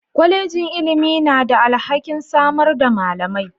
Kwallejin ilimi na da alhakin samar da malamai.